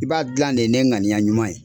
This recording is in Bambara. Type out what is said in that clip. I b'a gilan de ye n'e ŋaniya ɲuman ye.